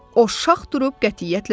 O şax durub qətiyyətlə dedi.